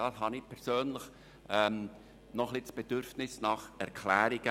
Diesbezüglich habe ich persönlich noch ein bisschen das Bedürfnis nach Erklärungen.